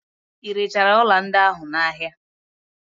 Irechara ọla ndị ahụ n'ahia?